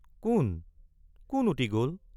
কোন কোন উটি গল?